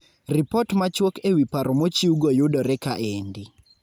Ripot machuok e wi paro mochiwgo yudore kaendi.